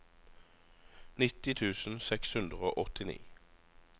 nitti tusen seks hundre og åttini